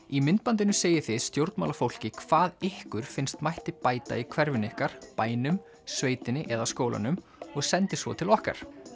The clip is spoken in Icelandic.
í myndbandinu segið þið stjórnmálafólki hvað ykkur finnst mætti bæta í hverfinu ykkar bænum sveitinni eða skólanum og sendið svo til okkar